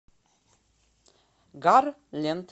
гарленд